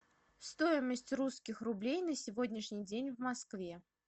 стоимость русских рублей на сегодняшний день в москве